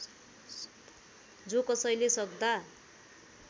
जोकसैले सक्दा